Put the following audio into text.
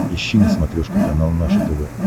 ищи на смотрешке канал наше тв